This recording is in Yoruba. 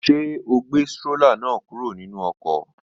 Ṣé o gbé strólà náà kúrò nínú ọkọ̀?